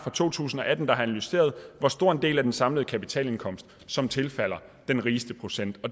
to tusind og atten der har analyseret hvor stor en del af den samlede kapitalindkomst som tilfalder den rigeste procent